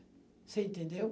Você entendeu?